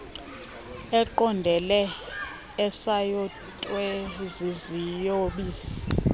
eqondele esayotywe ziziyobisi